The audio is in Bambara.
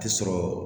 Tɛ sɔrɔ